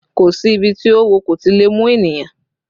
Kò si ibi tí oówo kò ti lè mú ènìyàn